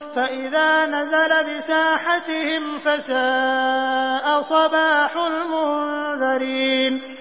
فَإِذَا نَزَلَ بِسَاحَتِهِمْ فَسَاءَ صَبَاحُ الْمُنذَرِينَ